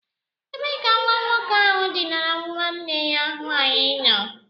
Ebee ka nwa nwoke ahu dinara nwanne ya nwaanyị nọ?